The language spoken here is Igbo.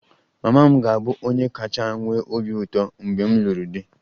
Mama m ga-abụ onye kacha nwee obi ụtọ mgbe m lụrụ di